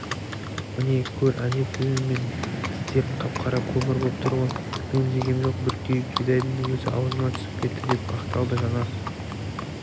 міне көр әне тілің мен тістерің қап-қара көмір боп тұр ғой мен жегем жоқ бір күйік бидайдың өзі аузыма түсіп кетті деп ақталды жанар